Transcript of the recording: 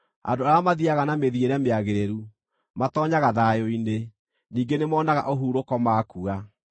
Andũ arĩa mathiiaga na mĩthiĩre mĩagĩrĩru, matoonyaga thayũ-inĩ; ningĩ nĩmonaga ũhurũko makua.